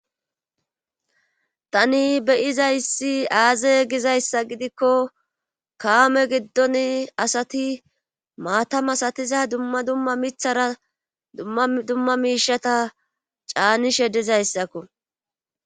tani beyiza issi aaze gizayssa gidikko kaame giddon asati maatam asatiza dumma dumma mithara dumma miishata caanishe dizayssakko